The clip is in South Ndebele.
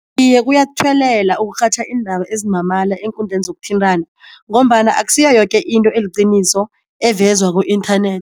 Iye kuyathuwelela ukurhatjha iindaba ezimamala eenkundleni zokuthintana, ngombana akusiyo yoke into eliqiniso evezwa ku-internet.